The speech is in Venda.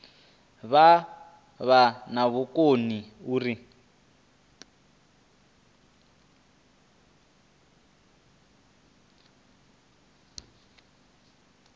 vha vha na vhukoni uri